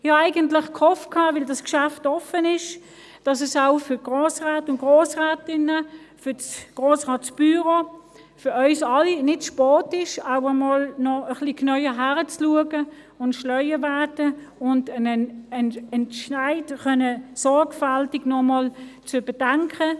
Da ich davon ausgegangen bin, dass das Geschäft offen ist, habe ich gehofft, dass es auch für die Grossräte und Grossrätinnen, für das Grossratsbüro und für uns alle nicht zu spät ist, auch mal ein bisschen näher hinzuschauen, gescheiter zu werden, um einen Entscheid sorgfältig überdenken zu können.